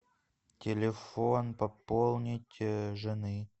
телефон пополнить жены